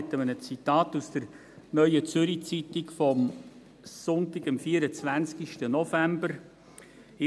Ich beginne mit einem Zitat aus der «Neuen Zürcher Zeitung» vom Sonntag, 24 November 2019.